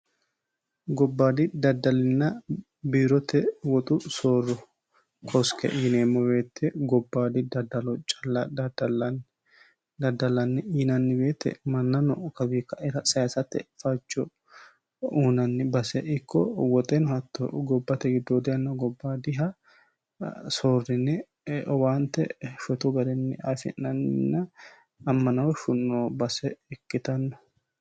gobbaadi daddallina biirote woxu soorro koske yineemmoweette gobbaadi daddalo calla daddallanni yinanni weete manna no kawiikaira saysatte fajjo uunanni base ikko woxeno hatto gobbate giddoode anna gobbaadiha soorrine owaante shotu garinni afi'nannina ammanooshu noo base ikkitanno